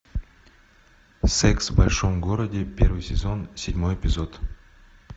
секс в большом городе первый сезон седьмой эпизод